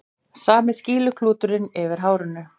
Sami skýluklúturinn yfir hárinu.